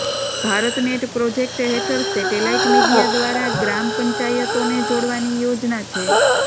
BharatNet project હેઠળ satellite media દ્વારા ગ્રામ પંચાયતોને જોડવાની યોજના છે